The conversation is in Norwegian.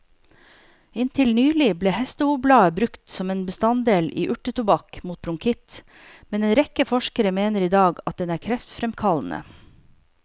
Inntil nylig ble hestehovblader brukt som en bestanddel i urtetobakk mot bronkitt, men en rekke forskere mener i dag at den er kreftfremkallende.